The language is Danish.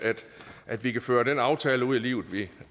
at vi kan føre den aftale ud i livet vi